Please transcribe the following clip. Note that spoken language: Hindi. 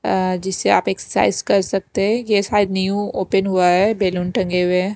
जिससे आप एक्सरसाइज कर सकते हैं ये शायद न्यू ओपन हुआ है बैलून टंगे हुए हैं।